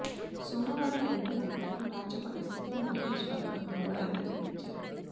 సోమవారం ఎల్బీనగర్లో రాచకొండ సీపీ మహేష్ భగవత్ వివరాలు వెల్లడించారు